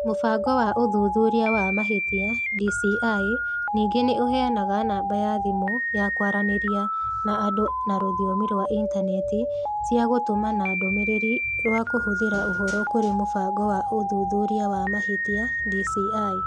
Mũbango wa ũthuthuria wa mahĩtia (DCI) ningĩ nĩ ũheanaga namba ya thimũ ya kwaranĩria na andũ na rũthiomi rwa Intaneti cia gũtũmana ndũmĩrĩri rwa #Kũhithũra ũhoro kũrĩ Mũbango wa ũthuthuria wa mahĩtia (DCI).